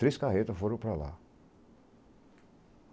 Três carretas foram para lá.